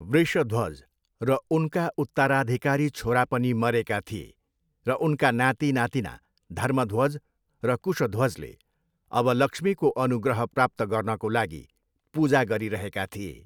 वृषध्वज र उनका उत्तराधिकारी छोरा पनि मरेका थिए, र उनका नाति नातिना, धर्मध्वज र कुशध्वजले अब लक्ष्मीको अनुग्रह प्राप्त गर्नको लागि पूजा गरिरहेका थिए।